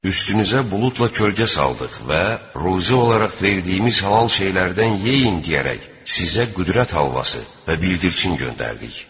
Üstünüzə buludla kölgə saldıq və ruzi olaraq verdiyimiz halal şeylərdən yeyin deyərək sizə qüdrət halvası və bildirçin göndərdik.